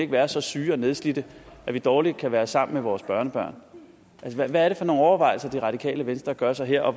være så syge og nedslidte at vi dårligt kan være sammen med vores børnebørn altså hvad er det for nogle overvejelser det radikale venstre gør sig her og